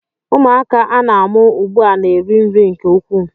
Ụmụaka a na-amụ ugbu a na-eri nri nke ukwuu